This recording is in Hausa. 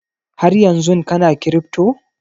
Haryanzun kana kiripto?